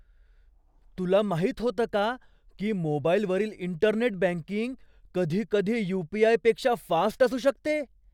तुला माहित होतं का की मोबाईलवरील इंटरनेट बँकिंग कधीकधी यू.पी.आय.पेक्षा फास्ट असू शकते?